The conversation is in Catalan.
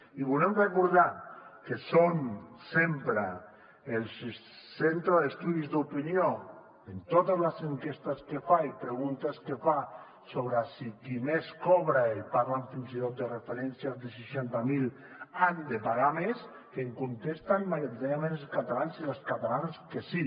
i volem recordar que sempre el centre d’estudis d’opinió en totes les enquestes i preguntes que fa sobre si qui més cobra i parlen fins i tot de referències de seixanta miler ha de pagar més que contesten majoritàriament els catalans i les catalanes que sí